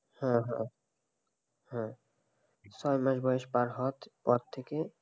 হা, হা, হা ছয় মাস বয়স পার হওয়ার পর থেকে,